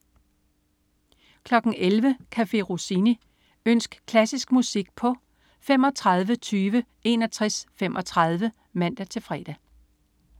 11.00 Café Rossini. Ønsk klassisk musik på tlf. 35 20 61 35 (man-fre)